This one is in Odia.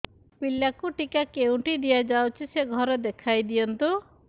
ପିଲାକୁ ଟିକା କେଉଁଠି ଦିଆଯାଉଛି ସେ ଘର ଦେଖାଇ ଦିଅନ୍ତୁ